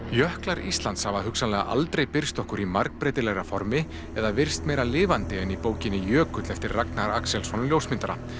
jöklar Íslands hafa hugsanlega aldrei birst okkur í margbreytilegra formi eða virst meira lifandi en í bókinni Jökull eftir Ragnar Axelsson ljósmyndara